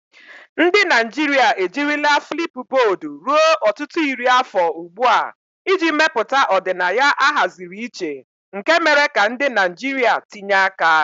Ndị Naijiria ejirila Flipubodu ruo ọtụtụ iri afọ ugbu a iji mepụta ọdịnaya ahaziri iche nke mere ka ndị Naijiria tinye aka.